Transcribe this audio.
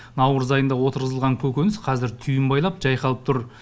наурыз айында отырғызылған көкөніс қазір түйін байлап жайқалып тұр